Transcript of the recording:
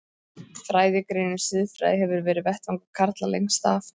Fræðigreinin siðfræði hefur verið vettvangur karla lengst af.